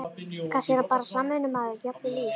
Kannski er hann bara samvinnumaður, jafnvel í